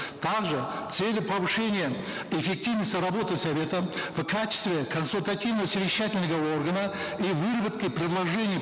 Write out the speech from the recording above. также с целью повышения эффективности работы совета в качестве консультативно совещательного органа и выработки предложений